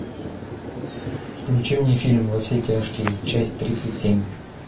включи мне фильм во все тяжкие часть тридцать семь